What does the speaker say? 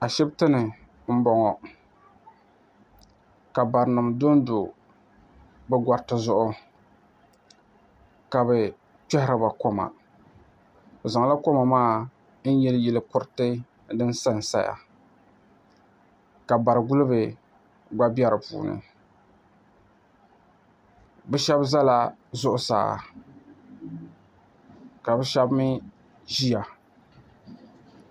Ashipti ni m boŋɔ ka barinima dondo bɛ goriti zuɣu ka bɛ kpehiriba koma bɛ zaŋla koma maa n yili yili kuriti din sansaya ka bari'guliba gba be dipuuni bɛ sheba zala zuɣusaa ka bɛ sheba mee ʒia.